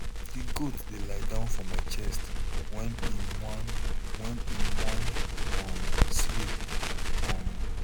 di goat dey lie down for my chest wen em wan wen em wan um sleep um